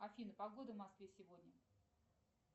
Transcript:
афина погода в москве сегодня